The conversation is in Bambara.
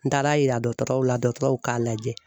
N taara yira dɔgɔtɔrɔw la dɔgɔtɔrɔw k'a lajɛ.